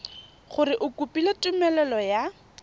gore o kopile tumelelo ya